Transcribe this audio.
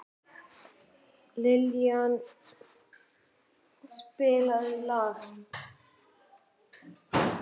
Liljan, spilaðu lag.